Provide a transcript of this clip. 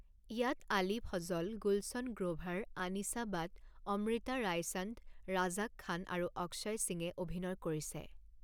ইয়াত আলী ফজল, গুলছন গ্ৰ'ভাৰ, আনিছা বাট, অমৃতা ৰায়চান্দ, ৰাজাক খান আৰু অক্ষয় সিঙে অভিনয় কৰিছে।